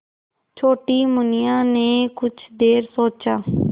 छोटी मुनिया ने कुछ देर सोचा